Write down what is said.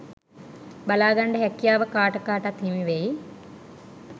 බලාගන්ඩ හැකියාව කාට කාටත් හිමි වෙයි.